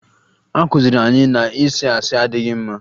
A kụziri anyị na ịsị asị adịghị mma